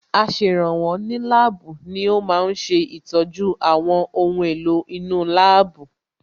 Aṣèrànwọ́ ní láàbù ni ó ma ń ṣe ìtọ́jú àwọn ohun èlò inú láàbù